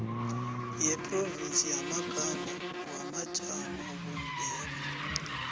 yeprovinsi yamagama wamajamobumbeko